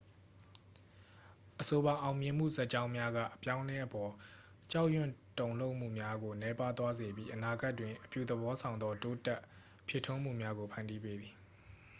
အဆိုပါ အောင်မြင်မှုဇာတ်ကြောင်းများက အပြောင်းအလဲအပေါ် ကြောက်ရွံ့တုန်လှုပ်မှုများကို နည်းပါးသွားစေပြီး အနာဂတ်တွင် အပြုသဘောဆောင်သော တိုးတက်ဖြစ်ထွန်းမှုများကို ဖန်တီးပေးသည်